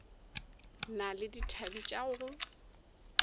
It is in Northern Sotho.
na le dithabe tša go